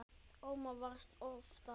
Ómar vann oftast.